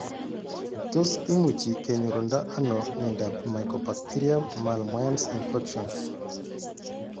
Tos imuchi kenyorundo ano miondop mycobacterium malmoense infections